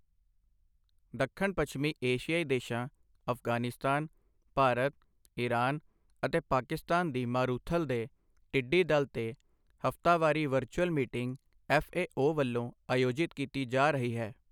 ਦੱਖਣ ਪੱਛਮੀ ਏਸ਼ੀਆਈ ਦੇਸ਼ਾਂ ਅਫਗਾਨਿਸਤਾਨ, ਭਾਰਤ, ਈਰਾਨ ਅਤੇ ਪਾਕਿਸਤਾਨ ਦੀ ਮਾਰੂਥਲ ਦੇ ਟਿੱਡੀ ਦਲ ਤੇ ਹਫਤਾਵਾਰੀ ਵਰਚੁਅਲ ਮੀਟਿੰਗ ਐਫਏਓ ਵਲੋਂ ਆਯੋਜਿਤ ਕੀਤੀ ਜਾ ਰਹੀ ਹੈ।